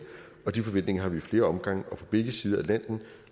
og de forventninger har vi i flere omgange og fra begge sider af atlanten